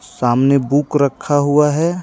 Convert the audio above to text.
सामने बुक रखा हुआ है.